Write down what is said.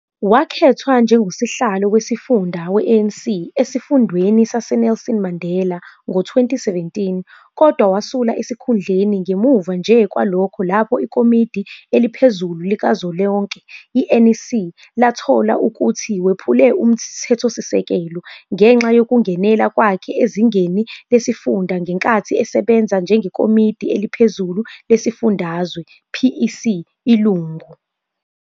Wakhethwa njengosihlalo wesifunda we-ANC esifundeni saseNelson Mandela ngo-2017 kodwa wasula esikhundleni ngemuva nje kwalokho lapho ikomidi eliphezulu likazwelonke, i-NEC, lathola ukuthi wephule uMthethosisekelo ngenxa yokungenela kwakhe ezingeni lesifunda ngenkathi esebenza njengekomidi eliphezulu lesifundazwe, PEC, ilungu.